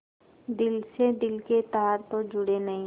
दिल से दिल के तार तो जुड़े नहीं